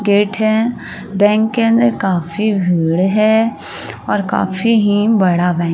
Gate है। Bank के अंदर काफी भीड़ है और काफी ही बड़ा बैंक --